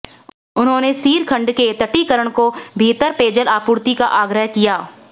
उन्होंने सीर खड्ड के तटीकरण और बिहतर पेयजल आपूर्ति का आग्रह किया